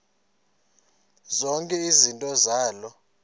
zonke izinto zaloo